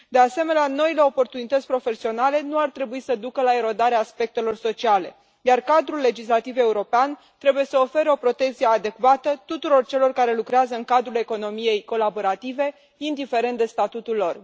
De asemenea, noile oportunități profesionale nu ar trebui să ducă la erodarea aspectelor sociale, iar cadrul legislativ european trebuie să ofere o protecție adecvată tuturor celor care lucrează în cadrul economiei colaborative, indiferent de statutul lor.